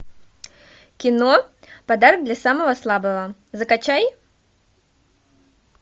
кино подарок для самого слабого закачай